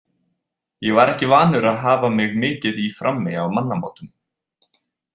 Ég var ekki vanur að hafa mig mikið í frammi á mannamótum.